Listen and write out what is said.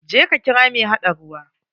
Je ka kira mai haɗa ruwa.